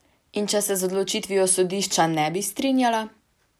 In če se z odločitvijo sodišča ne bi strinjala?